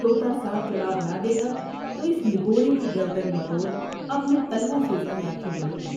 تو تا صاف جواب نہ دے گا تو اس نگوڑے کی گردن مروڑ اپنے تلوؤں سے اس کی آنکھیں ملوں گی